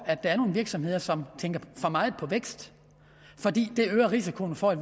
at der er nogle virksomheder som tænker for meget på vækst fordi det øger risikoen for at